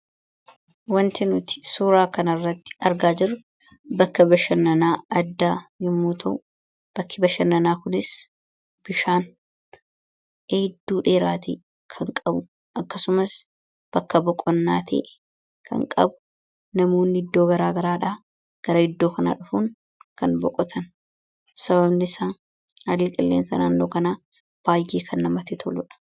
Wanti nuti suuraa kana irratti argaa jirru bakka bashannanaa addaa yemmuu ta'u, bakki bashannanaa kun bifaan iddoo dheeraa ta'e kan qabu akkasumas bakka boqonnaa ta'e kan qabu, namoonni iddoo garaa garaadha gara iddoo kanaa dhufuun kan boqotani. Sababni isaa haalli qilleensa naannoo kanaa baay'ee kan namatti toludha.